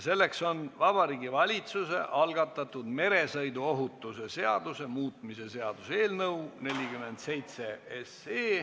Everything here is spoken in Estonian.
See on Vabariigi Valitsuse algatatud meresõiduohutuse seaduse muutmise seaduse eelnõu 47.